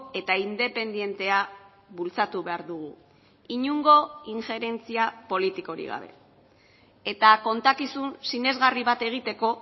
eta independentea bultzatu behar dugu inongo inferentzia politikorik gabe eta kontakizun sinesgarri bat egiteko